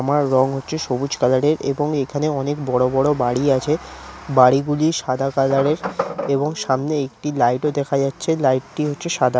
আমার রং হচ্ছে সবুজ কালারের এবং এখানে অনেক বড়ো বড়ো বাড়ি আছে বাড়ি গুলি সাদা কালারের। এবং সামনে একটি লাইট ও দেখা যাচ্ছে লাইটটি হচ্ছে সাদা।